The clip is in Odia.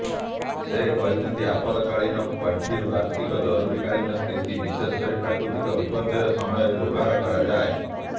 ସେ କହିଛନ୍ତି ଆପଦକାଳୀନ ପାଣ୍ଠିର ଅର୍ଥକୁ ଜରୁରୀକାଳୀନ ସ୍ଥିତି ବିଶେଷ କରି ପ୍ରାକୃତିକ ବିପର୍ଯ୍ୟୟ ସମୟରେ ବ୍ୟବହାର କରାଯାଏ